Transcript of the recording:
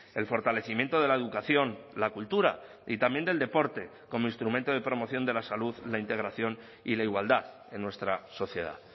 el fortalecimiento de la educación la cultura y también del deporte como instrumento de promoción de la salud la integración y la igualdad en nuestra sociedad